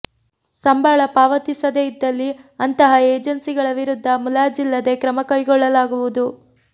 ಸಂಬಳ ಪಾವತಿಸದೇ ಇದ್ದಲ್ಲಿ ಅಂತಹ ಏಜೆನ್ಸಿ ಗಳ ವಿರುದ್ಧ ಮುಲಾಜಿಲ್ಲದೇ ಕ್ರಮಕೈಗೊಳ್ಳಲಾಗುವುದು